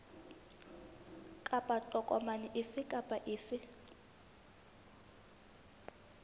kapa tokomane efe kapa efe